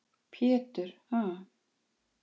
Pétur: Ha?